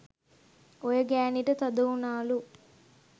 ඔය ගෑනිට තද උනාලු